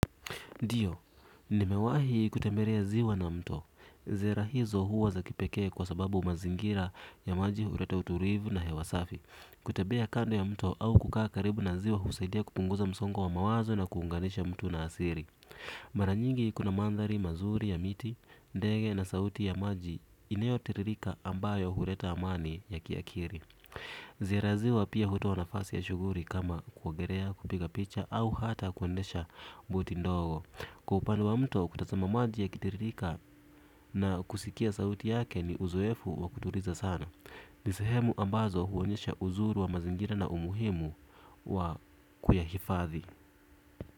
Ndiyo, nimewahi kutembelea ziwa na mto. Ziara hizo huwa za kipekee kwa sababu mazingira ya maji huleta utulivu na hewa safi. Kutembea kando ya mto au kukaa karibu na ziwa husaidia kupunguza msongo wa mawazo na kuunganisha mtu na asili. Mara nyingi kuna mandhari mazuri ya miti, ndege na sauti ya maji inayotiririka ambayo huleta amani ya kiakili. Ziara ya ziwa pia hutoa nafasi ya shughuli kama kuogelea kupiga picha au hata kuendesha buti ndogo. Kwa upande wa mto kutazama maji yakitiririka na kusikia sauti yake ni uzoefu wa kutuliza sana. Ni sehemu ambazo huonyesha uzuri wa mazingira na umuhimu wa kuyahifadhi.